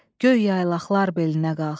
Göy yaylaqlar belinə qalx.